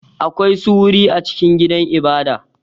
Akwai su wuri a cikin gidan ibada.